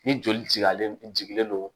Ni joli alen jigilen do